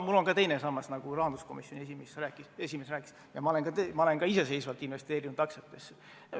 Mul on ka teine sammas, nagu rahanduskomisjoni esimeeski rääkis, ma olen ka iseseisvalt investeerinud aktsiatesse.